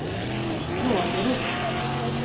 Klågerup